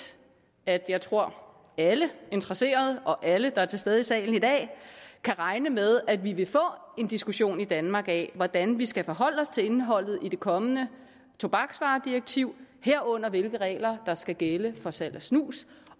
at jeg tror at alle interesserede og alle der er til stede i salen i dag kan regne med at vi vil få en diskussion i danmark af hvordan vi skal forholde os til indholdet i det kommende tobaksvaredirektiv herunder hvilke regler der skal gælde for salg af snus